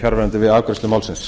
fjarverandi við afgreiðslu málsins